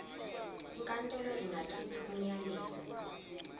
inkantolo ingakhipha umyalelo